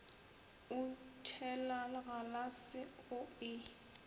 o tšhela galase o e